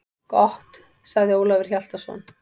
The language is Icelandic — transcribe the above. Gott, sagði Ólafur Hjaltason.